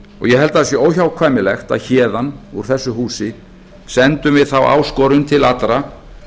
ég held að það sé óhjákvæmilegt að héðan úr þessu húsi sendum við þá áskorun til allra